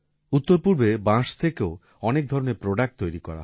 উত্তরপূর্বে বাঁশ থেকেও অনেক ধরনের প্রোডাক্ট তৈরি করা হয়